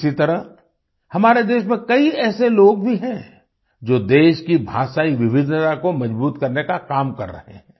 इसी तरह हमारे देश में कई ऐसे लोग भी हैं जो देश की भाषाई विविधता को मजबूत करने का काम कर रहे हैं